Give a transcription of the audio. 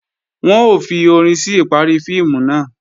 Wọ́n ó fi orin sí ìparí fíìmù náà